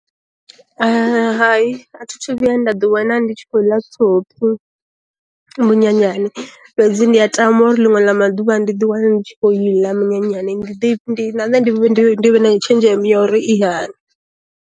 Hai a thi thu vhuya nda ḓi wana ndi tshi khou ḽa thophi munyanyani, fhedzi ndi a tama uri linwe la maduvha ndi di wana ndi tshi kho iḽa minyanyani ndi vhe na nṋe ndi vhe na tshenzhemo ya uri i hani.